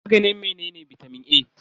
Maganin menene bitamin A?